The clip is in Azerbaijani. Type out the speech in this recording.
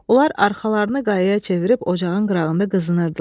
Onlar arxalarını qayaya çevirib ocağın qırağında qızınırdılar.